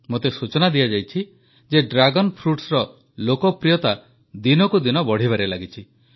ମତେ ସୂଚନା ଦିଆଯାଇଛି ଯେ ଡ୍ରାଗନ୍ Fruitsର ଲୋକପ୍ରିୟତା ଦିନକୁ ଦିନ ବଢ଼ିବାରେ ଲାଗିଛି